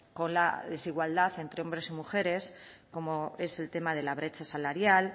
con la desigualdad entre hombres y mujeres como es el tema de la brecha salarial